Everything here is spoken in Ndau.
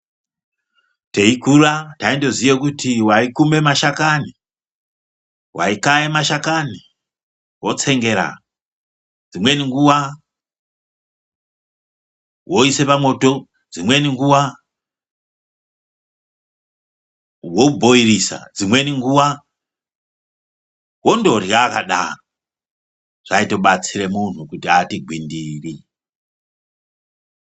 Teikura taindoziye kuti waikume mashakani waikaya mashakani wotsengera. Dzimweni nguva woise pamwoto, dzimweni nguva wobhoirisa, dzimweni nguva wondorya akadaro. Zvaitobatsire munhu kuti ati gwindiri.